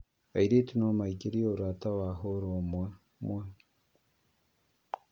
Airĩtu no maingĩrio ũrata wa hũra ũmwe mwe